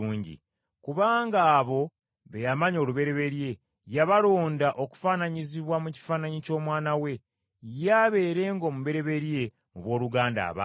Kubanga abo be yamanya olubereberye, yabalonda okufaananyizibwa mu kifaananyi ky’Omwana we, ye abeerenga omubereberye mu booluganda abangi.